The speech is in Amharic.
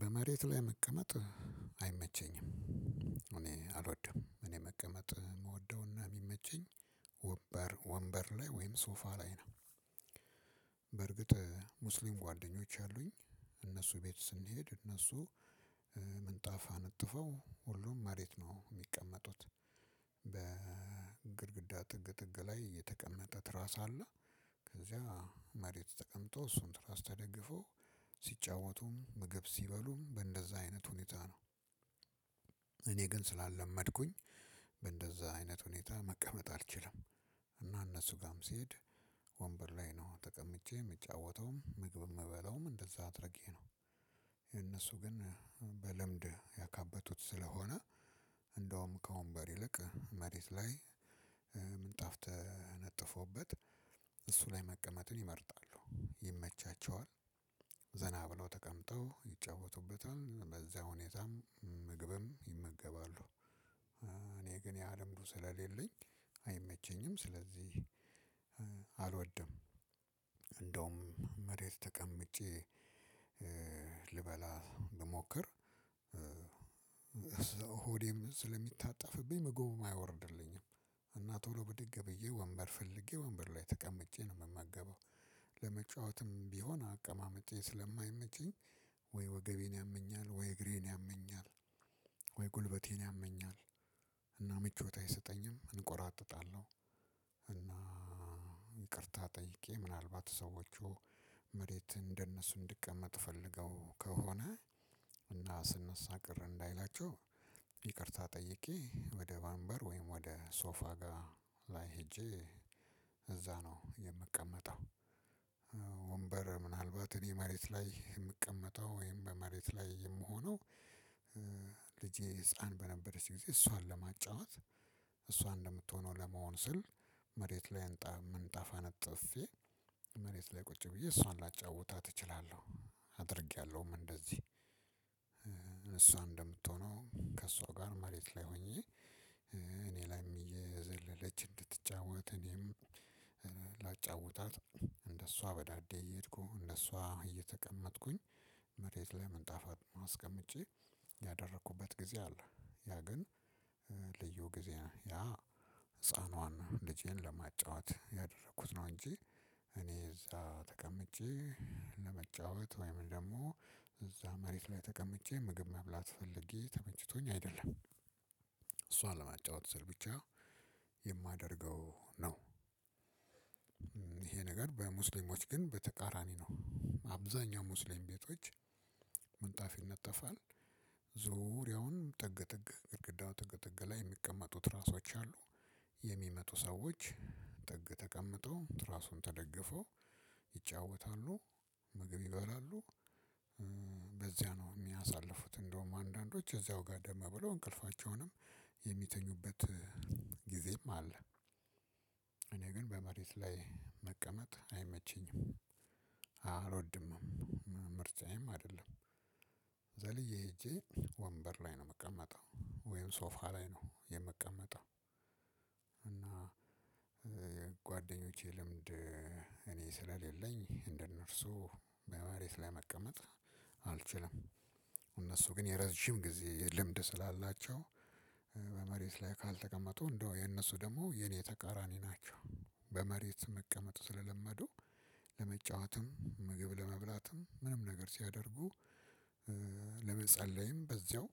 በመሬት ላይ መቀመጥ አይመቸኝም። እኔ አልወድም እኔ መቀመጥ የምወደውና የሚመቸኝ ወንበር ወንበር ላይ ወይም ሶፋ ላይ ነው። በእርግጥ ሙስሊም ጓደኞች አሉኝ። እነሱ ቤት ስንሄድ እነሱ ምንጣፋ አንጥፈው ሁሉም መሬት ነው የሚቀመጡት። በግድግዳ ጥግ ጥግ ላይ የተቀመጠ ትራስ አለ። ከዚያ መሬት ተቀምጦ እሱን ትራስ ተደግፎ ሲጫወቱም ምግብ ሲበሉም በእንደዛ አይነት ሁኔታ ነው። እኔ ግን ስላለመድኩኝ በእንደዛ አይነት ሁኔታ መቀመጥ አልችልም። እና እነሱ ጋርም ሲሄድ ወንበር ላይ ነው ተቀምጬ የምጫወተውም ምግብ የምበለውም እንደዛ አድርጌ ነው። የእነሱ ግን በለምድ ያካበቱት ስለሆነ እንደውም ከወንበር ይልቅ መሬት ላይ ምንጣፍ ተነጠፎበት እሱ ላይ መቀመጥን ይመርጣሉ ይመቻቸዋል። ዘና ብለው ተቀምጠው ይጨውቱበታል በዛ ሁኔታም ምግብም ይመገባሉ። እኔ ግን ያ ልምዱ ስለሌለኝ አይመቸኝም ስለዚህ አልወድም። እንደውም መሬት ተቀምጬ ልበላ ብሞክር ስለሚታጠፍብኝ ምግቡም አይወርድልኝም። እና ቶሎ ብድግ ብዬ ወንበር ፈልጌ ወንበር ላይ ተቀምጬ ነው የምመገበው። ለመጫወትም ቢሆን አቀማመጤ ስለማይመቸኝ ወይ ወገቤን ያመኛል ወይ እግሬን ያመኛል ወይ ጉልበቴን ያመኛል እና ምቾት አይሰጠኝም እንቆራጠጣለሁ። እና ይቅርታ ጠይቄ ምናልባት ሰዎቹ መሬት እንደነሱ እንድቀመጥ ፈልገው ከሆነ እና ስነሳ ቅር እንዳይላቸው ይቅርታ ጠይቄ ወደ ወንበር ወይም ወደ ሶፋ ጋር ላይ ሄጄ እዛ ነው የምቀመጠው። ወንበር ምናልባት እኔ መሬት ላይ የምቀመጠው ወይም በመሬት ላይ የምሆነው። ልጄ ህፃን በነበረች ጊዜ እሷን ለማጫወት እሷ እንደምትሆነው ለመሆን ስል መሬት ላይ እንጣ ምንጣፍ አነጥፌ መሬት ላይ ቁጭ ብዬ እሷን ላጫውታት እችላለሁ። አድርጌያለሁም እንደዚህ እሷ እንደምትሆነው ከእሷ ጋር መሬት ላይ ሆኜ እኔ ላይም እየዘለለች እንድትጫወት እኔም ላጫውታት እንደሷ በዳዴ እየሄድኩ እንደሷ እየተቀመጥኩኝ መሬት ላይ ምንጣፍጨ አስቀምጬ ያደረኩበት ጊዜ አለ። ያ ግን ልዩ ጊዜ ነው ያ ህፃኗን ልጄን ለማጫወት ያደረኩት ነው እንጂ። እኔ እዛ ተቀምጬ ለመጫወት ወይም ደግሞ እዛ መሬት ላይ ተቀምጬ ምግብ መብላት ፈልጌ ተመችቶኝ አይደለም እሷን ለማጫወት ስል ብቻ የማደርገው ነው። ይሄ ነገር በሙስሊሞች ግን በተቃራኒ ነው አብዛኛው ሙስሊም ቤቶች ምንጣፍ ይነጠፋል። ዙሪያውን ጥግጥግ ግድግዳው ጥግጥግ ላይ የሚቀመጡ ትራሶች አሉ። የሚመጡ ሰዎች ጥግ ተቀምጠው ትራሱን ተደግፈው ይጫወታሉ ምግብ ይበላሉ። በዚያ ነው የሚያሳልፉት እንደውም አንዳንዶች እዚያው ጋደም ብለው እንቅልፋቸውንም የሚተኙበት ጊዜም አለ። እኔ ግን በመሬት ላይ መቀመጥ አይመቸኝም አልወድምም ምርጫዬም አይደለም። ዘልዬ ሄጄ ወንበር ላይ ነው የምቀመጠው ወይም ሶፋ ላይ ነው የምቀመጠው። እና ጓደኞቼ ልምድ እኔ ስለሌለኝ እንደነርሱ በመሬት ላይ መቀመጥ አልችልም። እነሱ ግን የረዥም ጊዜ ልምድ ስላላቸው በመሬት ላይ ካልተቀመጡ እንደው የእነሱ ደግሞ የእኔ ተቃራኒ ናቸው። በመሬት መቀመጥ ስለለመዱ ለመጫወትም ምግብ ለመብላትም ምንም ነገር ሲያደርጉ ለመጸለይም በዚያው